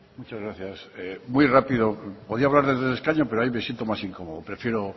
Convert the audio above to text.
muchas gracias muy rápido podría hablar desde el escaño pero ahí me siento más incomodo prefiero